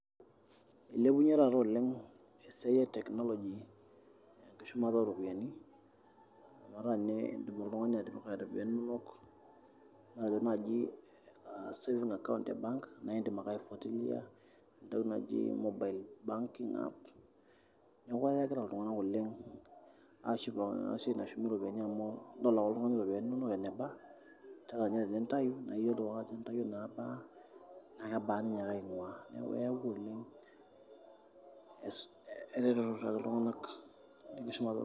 Eilepune taaata oleng esiai e teknoloji enkishumata oo ropiyiani amu etaa teneiyieu oltungani atipika ropiyiani inonok matejo naaji savings account te bank naa indim ake aifuatilia entoki naji mobile banking app, neeku enyokita iltungana oleng aashukukino ena siai nashumi ropiyiani amu idol ake oltungani ropiyiani inono eneba naa ata ninye tiniyieu nintai naa iyiolou ake ajo intayio naaba aa naa kebaa ninyaaka ainguaa neeku eyawua eretoto sapuk tenkishumata oo ropiyiani.